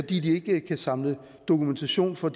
de ikke kan samle dokumentation for